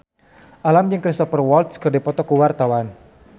Alam jeung Cristhoper Waltz keur dipoto ku wartawan